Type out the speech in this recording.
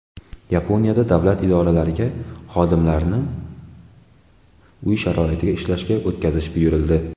Yaponiyada davlat idoralariga xodimlarini uy sharoitida ishlashga o‘tkazish buyurildi.